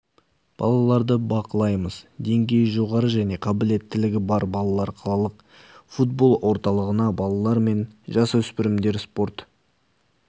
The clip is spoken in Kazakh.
балаларды бақылаймыз деңгейі жоғары және қабілеттілігі бар балалар қалалық футбол орталығына балалар мен жасөспірімдер спорт